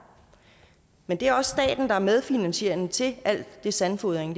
men det er også staten der er medfinansierende til al den sandfodring